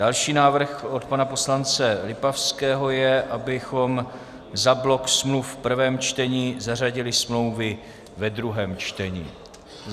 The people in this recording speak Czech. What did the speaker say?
Další návrh - od pana poslance Lipavského je, abychom za blok smluv v prvém čtení zařadili smlouvy ve druhém čtení.